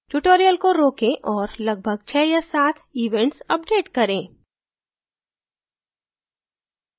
tutorial को रोकें और लगभग 6 या 7 events update करें